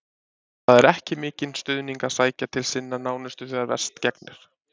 Það er ekki mikinn stuðning að sækja til sinna nánustu þegar verst gegnir.